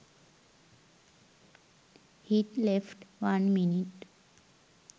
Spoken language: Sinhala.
hit left one minute